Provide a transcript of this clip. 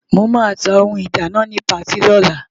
Mo máa ta ohun ìdáná ni patí lọ́la.